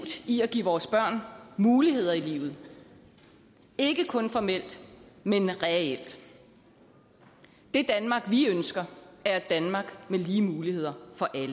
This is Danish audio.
i at give vores børn muligheder i livet ikke kun formelt men reelt det danmark vi ønsker er et danmark med lige muligheder for alle